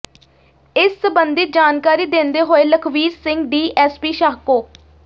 ਇਸ ਸਬੰਧੀ ਜਾਣਕਾਰੀ ਦਿੰਦੇ ਹੋਏ ਲਖਵੀਰ ਸਿੰਘ ਡੀਐੱਸਪੀ ਸ਼ਾਹਕੋ